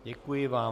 Děkuji vám.